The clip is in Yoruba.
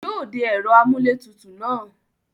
Yóò de ẹ̀rọ amúlétutù náà.